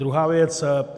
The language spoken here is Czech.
Druhá věc.